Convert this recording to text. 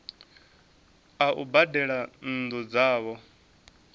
a u badela nnu dzavho